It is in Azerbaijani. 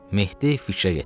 Mehdi fikrə getdi.